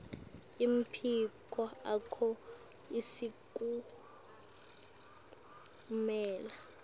emaphiko akho asifukamela